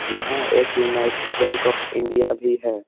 यहाँ एक united bank of India भी है।